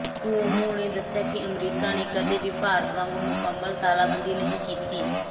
Cuomo ਨੇ ਦੱਸਿਆ ਕਿ ਅਮਰੀਕਾ ਨੇ ਕਦੇ ਵੀ ਭਾਰਤ ਵਾਂਗ ਮੁਕੰਮਲ ਤਾਲਾਬੰਦੀ ਨਹੀਂ ਕੀਤੀ